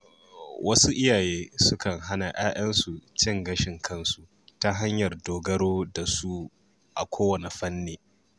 Wasu iyaye sukan hana ‘ya‘yansu cin gashin kansu ta hanyar dogaro da su a kowane fanni.